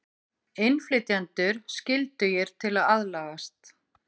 Innflytjendur skyldugir til að aðlagast